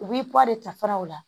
U b'i pan de tafan o la